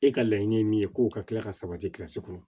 E ka laɲini ye min ye kow ka tila ka sabati kɔnɔ